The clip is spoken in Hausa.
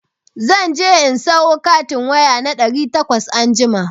Za je in sayo katin waya na ɗari takwas anjima.